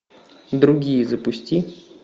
другие запусти